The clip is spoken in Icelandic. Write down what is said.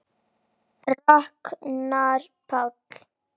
Ragnar Páll.